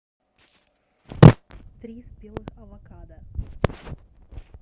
три спелых авокадо